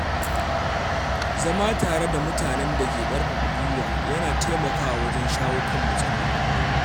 Zama tare da mutanen da ke ƙarfafa gwiwa yana taimakawa wajen shawo kan matsaloli.